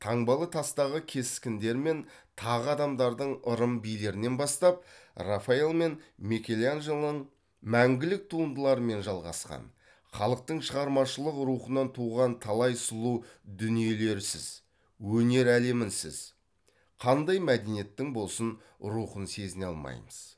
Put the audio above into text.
таңбалы тастағы кескіндер мен тағы адамдардың ырым билерінен бастап рафаэль мен мәңгілік туындыларымен жалғасқан халықтың шығармашылық рухынан туған талай сұлу дүниелерсіз өнер әлемінсіз қандай мәдениеттің болсын рухын сезіне алмаймыз